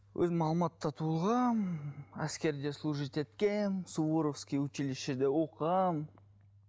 өзім алматыда туылғанмын әскерде служить еткенмін суворовский училищеде оқығанмын